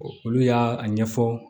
Olu y'a ɲɛfɔ